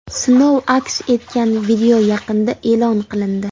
Sinov aks etgan video yaqinda e’lon qilindi.